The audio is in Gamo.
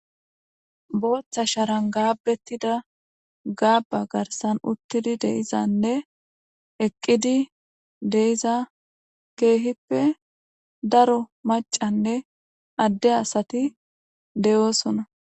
Booththa sharan gaabbettida gaaba garsan uttidi deizanne eqqidi deiza keehippe daro macanne adde asati deyoosona